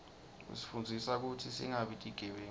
isifundzisa kutsi singabi tigebengu